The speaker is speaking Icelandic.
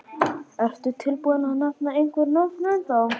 Ertu tilbúinn að nefna einhver nöfn ennþá?